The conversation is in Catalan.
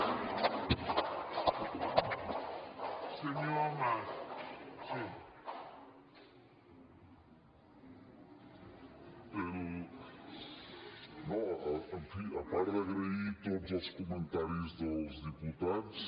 no en fi a part d’agrair tots els comentaris dels diputats